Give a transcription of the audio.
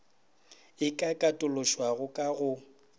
e ka katološwago ka go